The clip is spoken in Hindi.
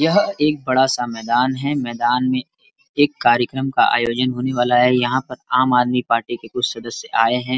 यह एक बड़ा सा मैंदान है। मैंदान में एक कार्यकर्म का आयोजन होने वाला है। यहाँ पर आम आदमी पार्टी के कुछ सदस्य आये हैं।